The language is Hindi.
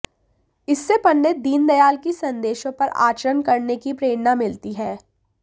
इससे पंडित दीनदयाल की संदेशों पर आचरण करने की प्रेरणा मिलती है